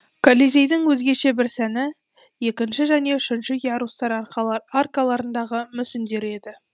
колизейдің өзгеше бір сәні екінші және үшінші ярустар аркаларындағы мүсіндері еді